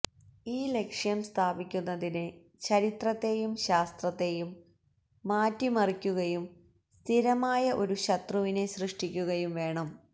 ഈ ലക്ഷ്യം സ്ഥാപിക്കുന്നതിന് ചരിത്രത്തെയും ശാസ്ത്രത്തെയും മാറ്റിമറിക്കുകയും സ്ഥിരമായ ഒരു ശത്രുവിനെ സൃഷ്ടിക്കുകയും വേണം